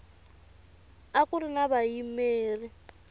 a ku ri na vayimeri